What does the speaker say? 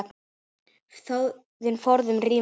Þjóðin forðum rímur las.